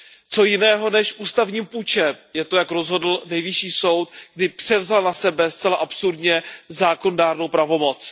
Čím jiným než ústavním pučem je to, jak rozhodl Nejvyšší soud, kdy převzal na sebe, zcela absurdně, zákonodárnou pravomoc.